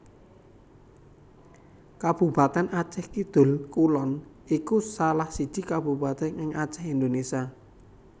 Kabupatèn Acèh Kidul Kulon iku salah siji Kabupatèn ing Acèh Indonésia